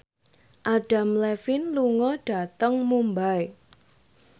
Adam Levine lunga dhateng Mumbai